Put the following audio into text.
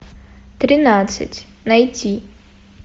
тринадцать найти